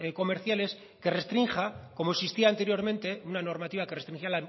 comerciales que restrinja como existía anteriormente una normativa que restringía